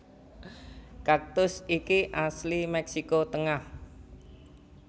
Kaktus iki asli Mèksiko tengah